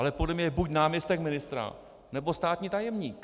Ale podle mě je buď náměstek ministra, nebo státní tajemník.